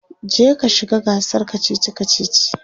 je ka shiga gasar kachichi kachichi!